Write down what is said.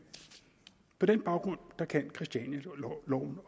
på den baggrund kan christianialoven